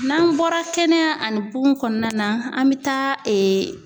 N'an bɔra kɛnɛya ani kugun kɔnɔna na, an bɛ taa